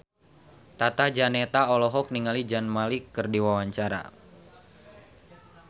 Tata Janeta olohok ningali Zayn Malik keur diwawancara